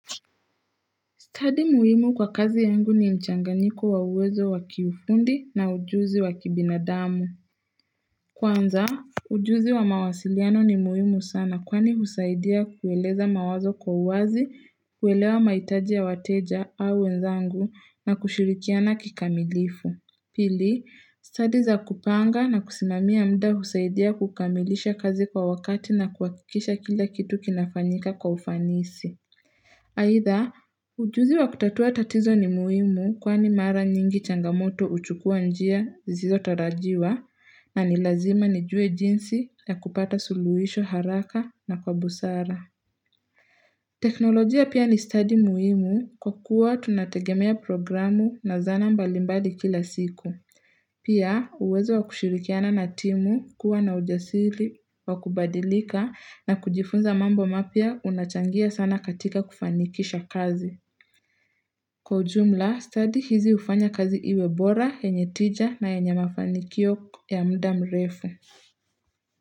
Study muhimu kwa kazi yangu ni mchanganyiko wa uwezo wa kiufundi na ujuzi wa kibinadamu. Kwanza, ujuzi wa mawasiliano ni muhimu sana kwani husaidia kueleza mawazo kwa uwazi, kuelewa maitaji ya wateja au wenzangu na kushirikiana kikamilifu. Pili, study za kupanga na kusimamia mda husaidia kukamilisha kazi kwa wakati na kuhakikisha kila kitu kinafanyika kwa ufanisi. Aidha, ujuzi wa kutatua tatizo ni muhimu kwani mara nyingi changamoto uchukua njia zilizotarajiwa na ni lazima nijue jinsi ya kupata suluhisho haraka na kwa busara. Teknolojia pia ni study muhimu kwa kuwa tunategemea programu na zana mbali mbali kila siku. Pia uwezo wa kushirikiana na timu, kuwa na ujasiri wa kubadilika na kujifunza mambo mapya unachangia sana katika kufanikisha kazi. Kwa ujumla, study hizi ufanya kazi iwe bora, henye tija na yenye mafanikio ya mda mrefu.